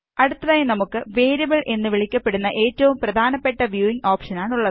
അടുത്തതായി നമുക്ക് വേരിയബിൾ എന്നു വിളിക്കപ്പെടുന്ന ഏറ്റവും പ്രധാനപ്പെട്ട വ്യൂവിംഗ് ഓപ്ഷനാണുള്ളത്